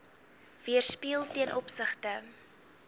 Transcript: weerspieël ten opsigte